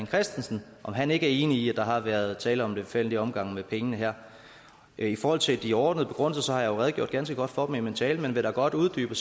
christensen om han ikke er enig i at der har været tale om en lemfældig omgang med pengene her i forhold til de overordnede begrundelser har jeg jo redegjort ganske godt for dem i min tale men jeg vil da godt uddybe